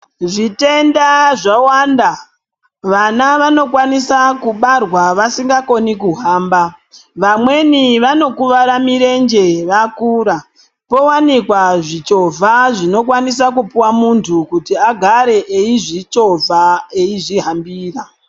Zvitenda zvawanda. Vana vanokwanisa kubarwa vasingakoni kuhamba, vamweni vanokuvara mirenje vakura. Powanikwa zvichovha zvinokwanisa kupuwa muntu kuti agare eizvichovha eizvihambira.